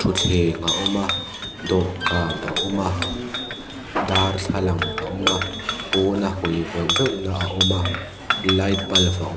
thutthleng a awm a dawhkan a awm a darthlalang a awm a pawn a hawi veuh veuhna a awm a light bulf a awm--